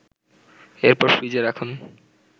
এরপর ফ্রিজে রাখুন